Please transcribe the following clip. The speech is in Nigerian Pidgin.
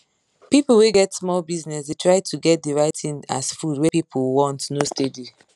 people wey get small business dey try to get de right thing as food wey people want no steady